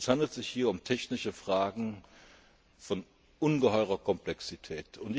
Es handelt sich hier um technische Fragen von ungeheurer Komplexität.